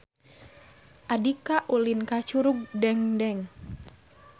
Andika ulin ka Curug Dengdeng